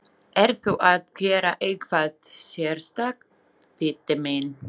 Ertu að gera eitthvað sérstakt, Diddi minn.